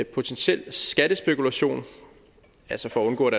potentiel skattespekulation altså for at undgå at